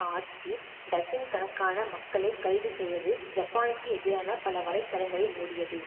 ஆட்சி டசின் கணக்கான மக்களை கைது செய்தது ஜப்பானுக்கு எதிரான பல வலை தளங்களை மூடியது